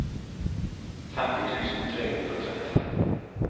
femti tusen tre hundre og trettifem